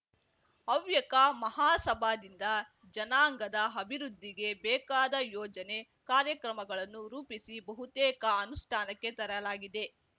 ಹವ್ಯಕ ಮಹಾಸಭಾದಿಂದ ಜನಾಂಗದ ಅಭಿವೃದ್ಧಿಗೆ ಬೇಕಾದ ಯೋಜನೆ ಕಾರ್ಯಕ್ರಮಗಳನ್ನು ರೂಪಿಸಿ ಬಹುತೇಕ ಅನುಷ್ಠಾನಕ್ಕೆ ತರಲಾಗಿದೆ